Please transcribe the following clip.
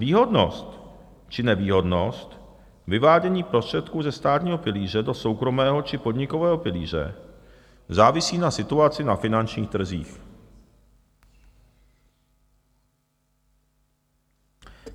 Výhodnost či nevýhodnost vyvádění prostředků ze státního pilíře do soukromého či podnikového pilíře závisí na situaci na finančních trzích.